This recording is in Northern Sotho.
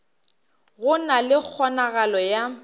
go na le kgonagalo ya